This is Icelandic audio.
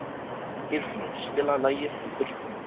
Geirfinnur, spilaðu lagið „Þú fullkomnar mig“.